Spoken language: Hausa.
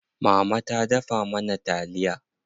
Mama ta dafa mana taliya.